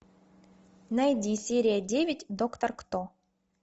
найди серия девять доктор кто